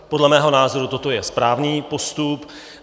Podle mého názoru toto je správný postup.